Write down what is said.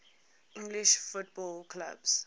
english football clubs